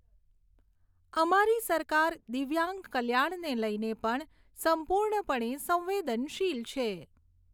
અમારી સરકાર દિવ્યાંગ કલ્યાણને લઈને પણ સંપૂર્ણપણે સંવેદનશીલ છે.